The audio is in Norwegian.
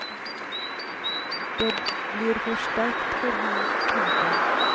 Det blir for sterkt for ham. punktum